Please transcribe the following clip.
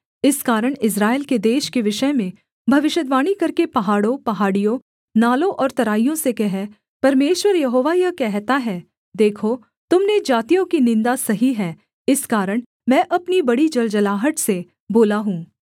इस कारण इस्राएल के देश के विषय में भविष्यद्वाणी करके पहाड़ों पहाड़ियों नालों और तराइयों से कह परमेश्वर यहोवा यह कहता है देखो तुम ने जातियों की निन्दा सही है इस कारण मैं अपनी बड़ी जलजलाहट से बोला हूँ